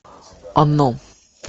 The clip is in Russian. оно